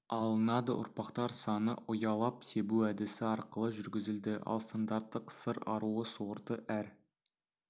алынады ұрпақтар саны ұялап себу әдісі арқылы жүргізілді ал стандарттық сыр аруы сорты әр